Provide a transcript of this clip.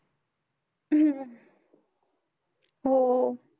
हम्म हो.